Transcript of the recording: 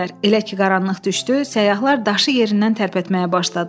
Elə ki qaranlıq düşdü, səyyahlar daşı yerindən tərpətməyə başladılar.